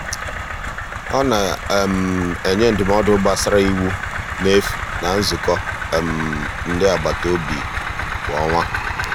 ọ na-enye ndụmọdụ gbasara iwu n'efu na nzukọ um ndị agbataobi kwa ọnwa.